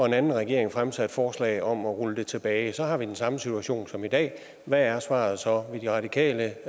og en anden regering fremsatte forslag om at rulle det tilbage så har vi den samme situation som i dag hvad er svaret så ville de radikale